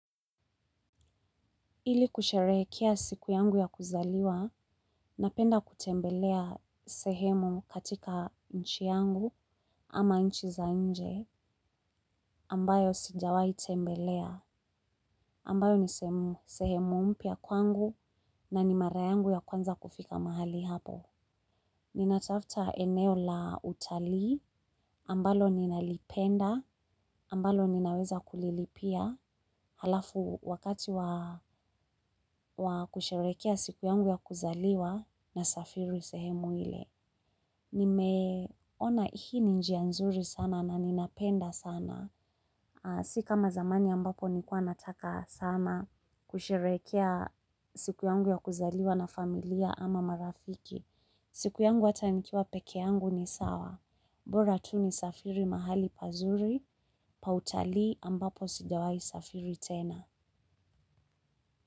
Ili kusherehekea siku yangu ya kuzaliwa, napenda kutembelea sehemu katika nchi yangu ama nchi za nje ambayo sijawai tembelea, ambayo ni sehemu mpya kwangu na ni mara yangu ya kwanza kufika mahali hapo. Nina tafuta eneo la utalii, ambalo ninalipenda, ambalo ninaweza kulilipia, halafu wakati wa kusherekea siku yangu ya kuzaliwa na safiri sehemu ile. Nimeona hii ni njia nzuri sana na ninapenda sana. Sikama zamani ambapo nilikuwa nataka sana kusherekea siku yangu ya kuzaliwa na familia ama marafiki. Siku yangu atanikiwa pekee yangu ni sawa, mbora tu ni safiri mahali pazuri, pautali ambapo sijawai safiri tena.